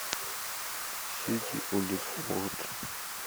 сити уотфорд